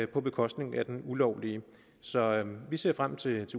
på bekostning af den ulovlige så vi ser frem til